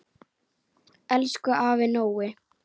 Elsku afi Nói.